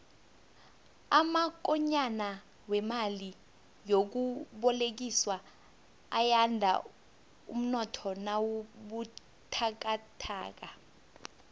amakonyana wemali yokubolekiswa ayanda umnotho nawubuthakathaka